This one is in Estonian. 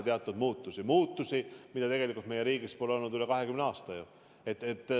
Neid muutusi pole tegelikult meie riigis tehtud üle 20 aasta.